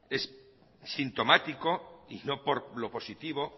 es sintomático y no por lo positivo